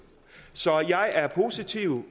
så jeg er positiv